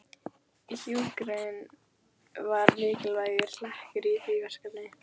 Hjúkrun var mikilvægur hlekkur í því verkefni.